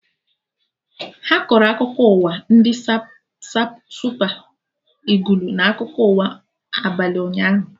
Ha kọrọ akụkọ ụwa ndị Supa Ịgụlụ na akụkọ ụwa abalị ụnyaahụ